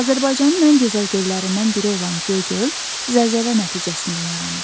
Azərbaycanın ən gözəl göllərindən biri olan Göygöl zəlzələ nəticəsində yaranıb.